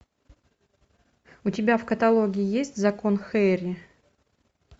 у тебя в каталоге есть закон хэрри